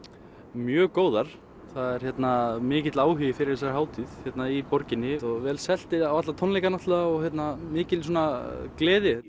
mjög góðar það er mikill áhugi fyrir þessari hátíð hérna í borginni og vel selt á alla tónleikana og mikil gleði